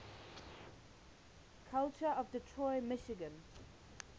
culture of detroit michigan